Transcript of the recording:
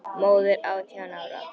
Móðir átján ára?